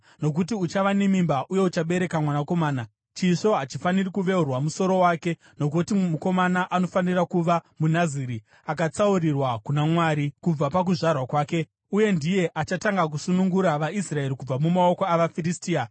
nokuti uchava nemimba uye uchabereka mwanakomana. Chisvo hachifaniri kuveura musoro wake, nokuti mukomana anofanira kuva muNaziri, akatsaurirwa kuna Mwari kubva pakuzvarwa kwake, uye ndiye achatanga kusunungura vaIsraeri kubva mumaoko avaFiristia.”